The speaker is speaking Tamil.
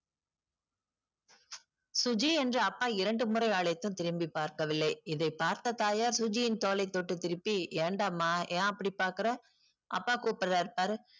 சுஜி என்று அப்பா இரண்டு முறை அழைத்தும் திரும்பிபார்க்கவில்லை இதை பார்த்த தாயார் சுஜியின் தோளை தொட்டு திருப்பி ஏன்டாம ஏன் அப்டி பாக்குற அப்பா கூப்புர்ராறு பாரு